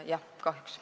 Jah, kahjuks.